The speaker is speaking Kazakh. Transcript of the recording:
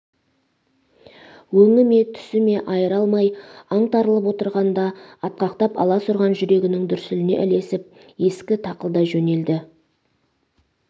өңі ме түсі ме айыра алмай аңтарылып отырғанда атқақтап аласұрған жүрегінің дүрсіліне ілесіп ескі тақылдай жөнелді